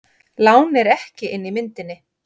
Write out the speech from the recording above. Lán er ekki inni í myndinni